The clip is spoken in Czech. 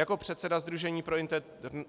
"Jako předseda Sdružení pro